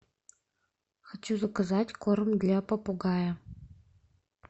хочу заказать корм для попугая